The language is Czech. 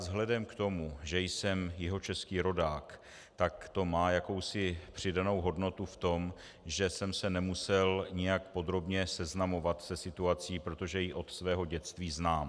Vzhledem k tomu, že jsem jihočeský rodák, tak to má jakousi přidanou hodnotu v tom, že jsem se nemusel nijak podrobně seznamovat se situací, protože ji od svého dětství znám.